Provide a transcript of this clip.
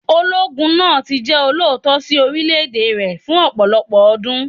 Ológun náà tí jẹ́ olóòótọ́ sí orílẹ̀ èdè rẹ̀ fún ọ̀pọ̀lọpọ̀ ọdún.